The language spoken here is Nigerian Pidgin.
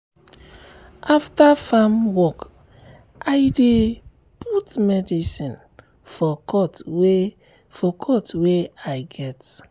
after farm work i dey um put medicine for cut wey for cut wey i um get. um